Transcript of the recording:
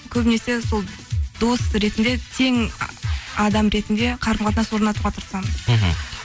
көбінесе сол дос ретінде тең адам ретінде қарым қатынас орнатуға тырысамын мхм